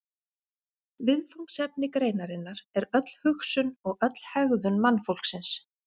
Viðfangsefni greinarinnar er öll hugsun og öll hegðun mannfólksins.